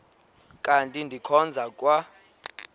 kanti ndikhonza kwa